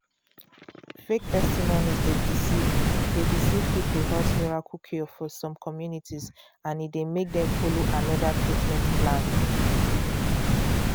fake testimonies dey deceive dey deceive people about miracle cure for some communities and e dey make dem follow another treatment plan.